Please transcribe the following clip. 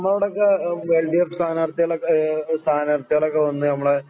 നമ്മളുടെയൊക്കെ L D F സ്ഥാനാർത്ഥികൾ സ്ഥാനാർത്ഥികളൊക്കെവന്ന്